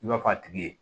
I b'a fɔ a tigi ye